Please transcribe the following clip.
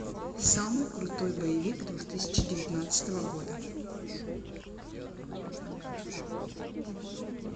самый крутой боевик две тысячи девятнадцатого года